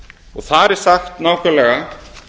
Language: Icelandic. og þar er sagt nákvæmlega